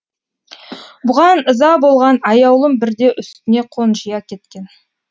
бұған ыза болған аяулым бірде үстіне қонжия кеткен